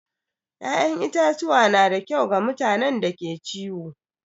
ya'yan itatuwa na da kyau ga mutanen da ke ciwo.